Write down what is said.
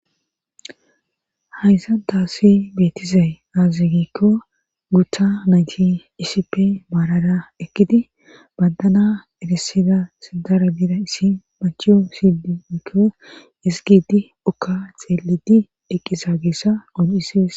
Hayssantaasi beetizay azazi gikko gutha najji iisipe maarada ekkidi bandana eresida sidara bida issi machiyo sidi giiko isigidi okka xeelidi eqqisa geessa qon'isees.